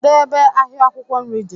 Kedụ ebe ahịa akwụkwọ nri dị?